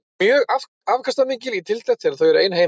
Þau eru mjög afkastamikil í tiltekt þegar þau eru ein heima.